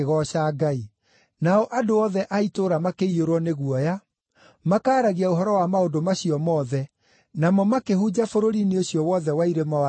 Nao andũ othe a itũũra makĩiyũrwo nĩ guoya, makaaragia ũhoro wa maũndũ macio mothe, namo makĩhunja bũrũri-inĩ ũcio wothe wa irĩma wa Judea.